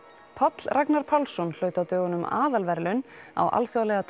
Páll Ragnar Pálsson hlaut á dögunum aðalverðlaun á Alþjóðlega